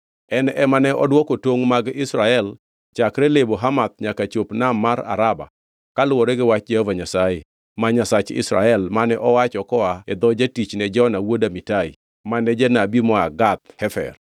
En ema ne odwoko tongʼ mag Israel chakre Lebo Hamath nyaka chop Nam mar Araba, kaluwore gi wach Jehova Nyasaye, ma Nyasach Israel, mane owacho koa e dho jatichne Jona wuod Amitai, mane janabi moa Gath Hefer.